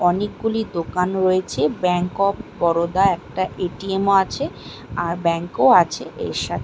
অনেকগুলি দোকান রয়েছে ব্যাঙ্ক অফ বরোদা একটা এ.টি.এম. -ও আছে আর ব্যাংক ও আছে এর সা--